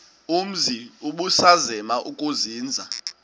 umzi ubusazema ukuzinza